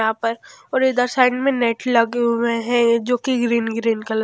यहां पर और इधर साइड में नेट लगे हुए हैं जो कि ग्रीन ग्रीन कल --